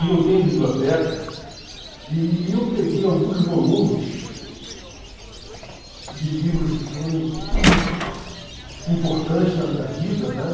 E eu tenho biblioteca e e eu peguei alguns volumes de livros que foram im importantes na minha vida, né?